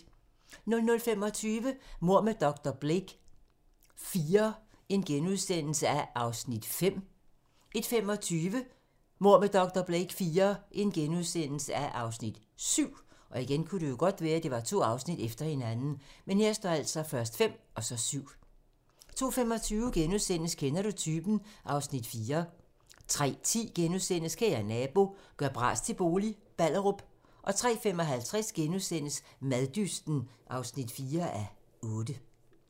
00:25: Mord med dr. Blake IV (5:8)* 01:25: Mord med dr. Blake IV (7:8)* 02:25: Kender du typen? (Afs. 4)* 03:10: Kære nabo - gør bras til bolig - Ballerup * 03:55: Maddysten (4:8)*